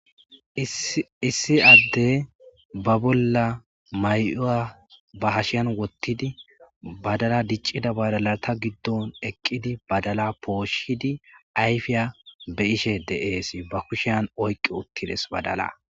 Issi Adey ba bolla mayuwa hasheni wothid badala poshishe de'es.